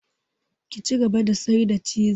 Ki cigaba da sayar da ciz!